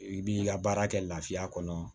I b'i ka baara kɛ lafiya kɔnɔ